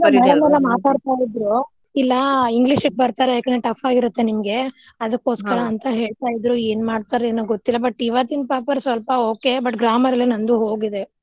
ಇಲ್ಲಾ madam ಎಲ್ಲಾ ಮಾತಾಡ್ತಾ ಇದ್ರು ಇಲ್ಲಾ English ಕ್ಕ ಬರ್ತಾರೆ ಯಾಕ್ ಅಂದ್ರೆ tough ಆಗಿರುತ್ತೆ ನಿಮ್ಗೆ ಅದಕೋಸ್ಕರಾ ಅಂತಾ ಹೇಳ್ತಾ ಇದ್ರು ಏನ್ ಮಾಡ್ತಾರೊ ಏನೊ ಗೊತ್ತಿಲ್ಲಾ but ಇವತ್ತಿನ paper ಸ್ವಲ್ಪ okay but grammar ಎಲ್ಲಾ ನಂದು ಹೋಗಿದೆ.